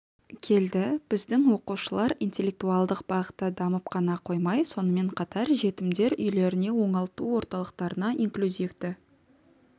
келді біздің оқушылар интеллектуалдық бағытта дамып қана қоймай сонымен қатар жетімдер үйлеріне оңалту орталықтарына инклюзивті